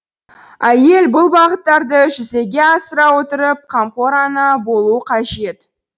әйел бұл бағыттарды жүзеге асыра отырып қамқор ана болу қажет